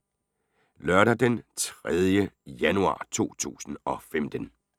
Lørdag d. 3. januar 2015